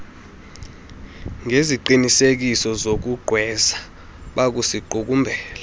ngeziqinisekiso zokugqwesa bakusiqukumbela